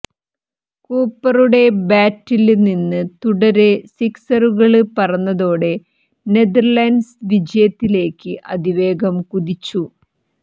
കൂപ്പറുടെ ബാറ്റില് നിന്ന് തുടരെ സിക്സറുകള് പറന്നതോടെ നെതര്ലന്റ്സ് വിജയത്തിലേക്ക് അതിവേഗം കുതിച്ചു